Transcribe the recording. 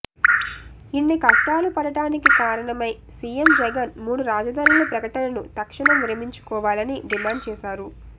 ఇన్ని కష్టాలు పడటానికి కారణమై సీఎం జగన్ మూడు రాజధానుల ప్రకటను తక్షణం విరమించుకోవాలని డిమాండ్ చేశారు